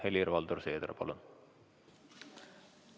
Helir-Valdor Seeder, palun!